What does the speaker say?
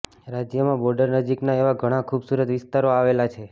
રાજયમાં બોર્ડર નજીકના એવા ઘણાં ખુબસુરત વિસ્તારો આવેલા છે